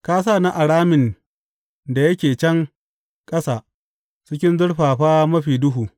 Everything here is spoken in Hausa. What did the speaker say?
Ka sa ni a ramin da yake can ƙasa cikin zurfafa mafi duhu.